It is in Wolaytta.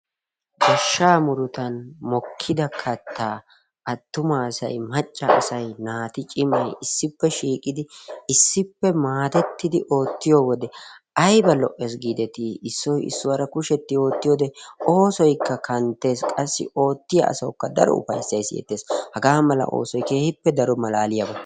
Goshsha murutan mokkida katta attumasay, maccassay, naati cimmay issippe shiiqidi issippe maadetidi ootiyoode aybba lo''ees giideti. Issoy issuwaara kushetti oottiyoode oosoykka kanttees. Oottiya asawukka daro ufayssay siyeettees. Hagaa mala oosoy keehippe daro malaaliyaaba.